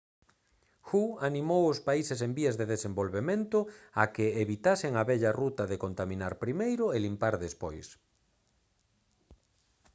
hu animou aos países en vías de desenvolvemento a que «evitasen a vella ruta de contaminar primeiro e limpar despois»